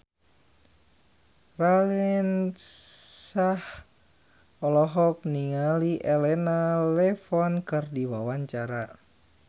Raline Shah olohok ningali Elena Levon keur diwawancara